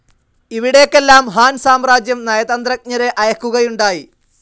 ഇവിടേക്കെല്ലാം Han സാമ്രാജ്യം നയതന്ത്രജ്ഞരെ അയക്കുകയുണ്ടായി.